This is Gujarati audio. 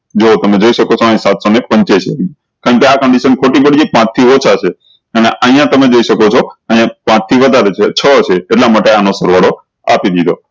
જો તમે જોયી શકો છો અયી સાત સૌ ને પંચ્યાસી કારણ કે આ condition ખોટી ખોટી છે પાંચ થી ઓછા છે અને અયીયા તમે જોયી શકો છો અયીયા પાંચ થી વધારે છે છો છે એટલા માટે આનું સરવાળો આપી દીધો